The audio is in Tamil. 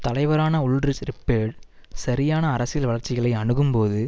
தலைவரான உல்ரிச் ரிப்பேர்ட் சரியான அரசியல் வளர்ச்சிகளை அணுகும்போது